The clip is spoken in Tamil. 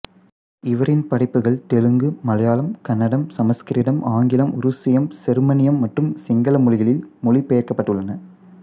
இவரின் படைப்புகள் தெலுங்கு மலையாளம் கன்னடம் சமஸ்கிருதம் ஆங்கிலம் உருசியம் செருமனியம் மற்றும் சிங்கள மொழிகளில் மொழி பெயர்க்கப்பட்டுள்ளன